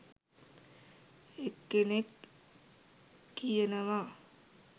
එක්කෙනෙක් කියනවා